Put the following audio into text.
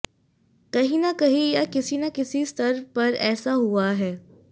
कहीं न कहीं या किसी न किसी स्तर पर ऐसा हुआ है